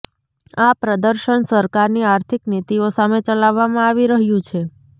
આ પ્રદર્શન સરકારની આર્થિક નીતિઓ સામે ચલાવવામાં આવી રહ્યું છે